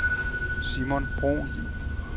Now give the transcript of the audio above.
Simon Bruhn